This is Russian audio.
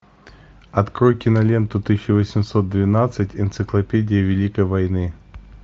открой киноленту тысяча восемьсот двенадцать энциклопедия великой войны